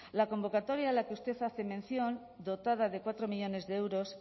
la convocatoria a la que usted hace mención dotada de cuatro millónes de euros